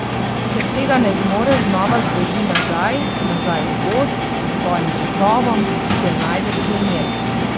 Ker tega ne zmore znova zbeži nazaj, nazaj v gozd, k svojim volkovom, kjer najde svoj mir.